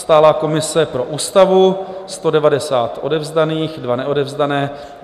Stálá komise pro Ústavu - 190 odevzdaných, 2 neodevzdané.